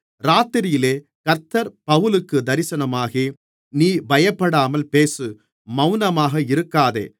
இராத்திரியிலே கர்த்தர் பவுலுக்குத் தரிசனமாகி நீ பயப்படாமல் பேசு மவுனமாக இருக்காதே